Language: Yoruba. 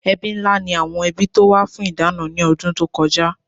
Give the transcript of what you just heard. Ẹbí ńlá ni àwọn ẹbí tó wá fún ìdáná ní ọdún tó kọjá